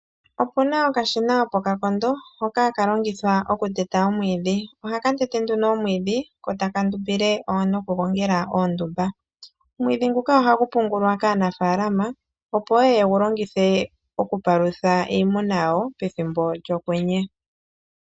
Opuna okashina opo ka kondo hoka ha ka longithwa oku teta omwiidhi. Ohaka tete nduno omwiidhi ko taka ndumbile wo noku gongela oondumba. Omwiidhi nguka ohagu pungulwa kaanafaalama opo yeye yegu longithe oku palutha iimuna yawo pethimbo lyokwenye.